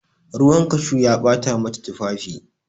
Ruwan cashew ya bata mata tufafi.